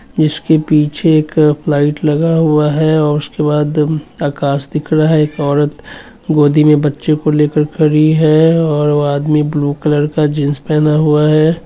इसके पीछे एक लाइट लगा हुआ है और उसके बाद आकाश दिख रहा है| एक औरत गोदी मे बच्चे को लेकर खड़ी है| और वो आदमी ब्लू कलर का जीन्स पहना हुआ है।